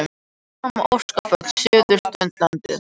Áfram öskufall suðaustanlands